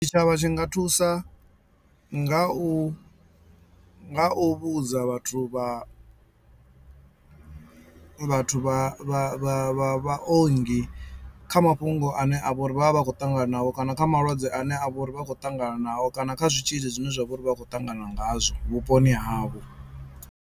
Tshitshavha tshi nga thusa nga u nga u vhudza vhathu vha vhathu vha vha vha vhaongi kha mafhungo ane avha uri vhavha vha khou ṱangana nao kana kha malwadze ane a vha uri vha khou ṱangana nao kana kha zwitzhili zwine zwa vha uri vha khou ṱangana ngazwo vhuponi havho.